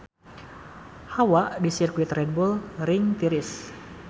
Hawa di Sirkuit Red Bull Ring tiris